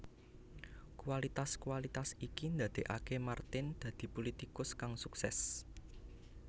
Kualitas kualitas iki ndadekake Martin dadi pulitikus kang sukses